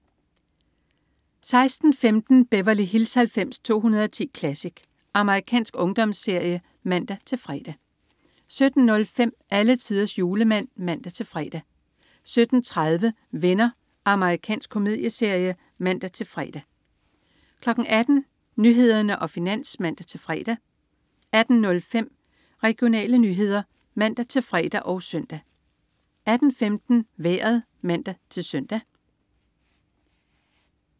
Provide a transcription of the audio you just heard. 16.15 Beverly Hills 90210 Classic. Amerikansk ungdomsserie (man-fre) 17.05 Alletiders Julemand (man-fre) 17.30 Venner. Amerikansk komedieserie (man-fre) 18.00 Nyhederne og Finans (man-fre) 18.05 Regionale nyheder (man-fre og søn) 18.15 Vejret (man-søn)